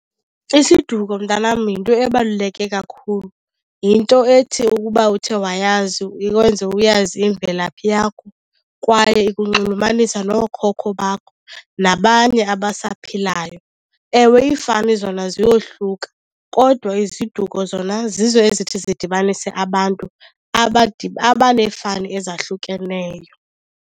Isiduko mntanam yinto ebaluleke kakhulu. Yinto ethi ukuba uthe wayazi ikwenze uyazi imvelaphi yakho kwaye ikunxulumanisa nookhokho bakho nabanye abasaphilayo. Ewe, iifani zona ziyohluka kodwa iziduko zona zizo ezithi zidibanise abantu abaneefani ezahlukeneyo.